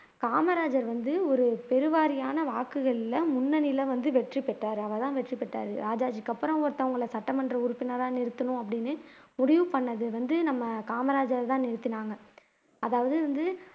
காமராஜர் வந்து ஒரு பெருவாரியான வாக்குகள்ல முன்னணியில வந்து வெற்றி பெற்றாரு அவர்தான் வெற்றி பெற்றாரு ராஜாஜிக்கு அப்புறம் ஒருத்தவங்களை சட்டமன்ற உறுப்பினரா நிறுத்தணும் அப்படின்னு முடிவு பண்ணது வந்து நம்ம காமராஜரை தான் நிறுத்துனாங்க அதாவது வந்து